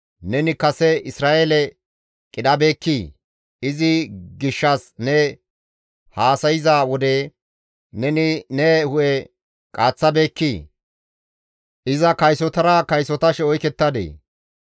Neni kase Isra7eele qidhabeekkii? Izi gishshas ne haasayza wode neni ne hu7e qaaththabeekkii? Iza kaysotara kaysotashe oykettadee?